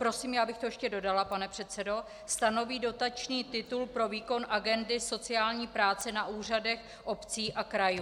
Prosím, já bych to ještě dodala, pane předsedo - stanoví dotační titul pro výkon agendy sociální práce na úřadech obcí a krajů.